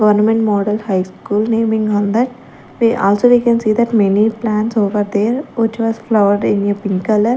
government model high school naming on that we also they can see that many plants over there which was flowered in pink colour.